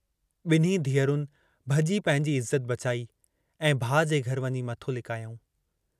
ॿिन्हीं धीअरुनि भॼी पंहिंजी इज़त बचाई ऐं भाउ जे घर वञी मथो लिकायाऊं।